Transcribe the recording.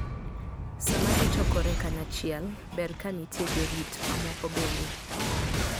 Sama ji chokore kanyachiel, ber ka nitie jorit mamoko bende.